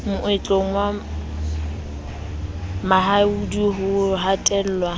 moetlong wa mahindu ho hatellwa